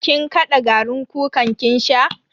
Kin kada garin kukan ki sha?